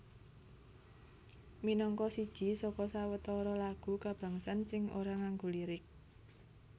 Minangka siji saka sawetara lagu kabangsan sing ora nganggo lirik